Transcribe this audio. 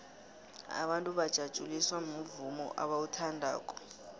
abantu bajatjuliswa muvumo abauthandako